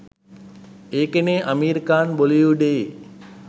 ඒකනේ අමීර් ඛාන් බොලිවුඩයේ